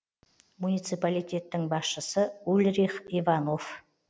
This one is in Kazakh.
муниципалитеттің басшысы ульрих иванов